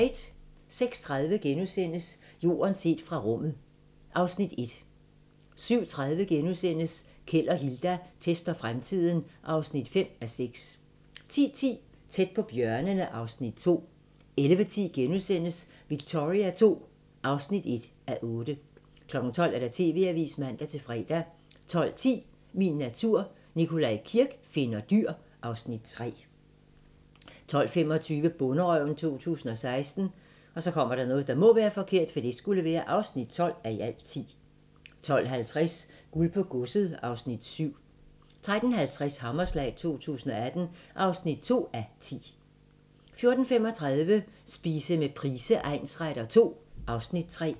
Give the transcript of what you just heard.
06:30: Jorden set fra rummet (Afs. 1)* 07:30: Keld og Hilda tester fremtiden (5:6)* 10:10: Tæt på bjørnene (Afs. 2) 11:10: Victoria II (1:8)* 12:00: TV-avisen (man-fre) 12:10: Min natur - Nikolaj Kirk finder dyr (Afs. 3) 12:25: Bonderøven 2016 (12:10) 12:50: Guld på godset (Afs. 7) 13:50: Hammerslag 2018 (2:10) 14:35: Spise med Price egnsretter II (Afs. 3)